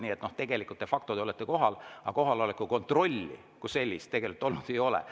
Nii et tegelikult de facto te olete kohal, aga kohaloleku kontrolli kui sellist olnud ei ole.